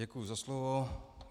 Děkuji za slovo.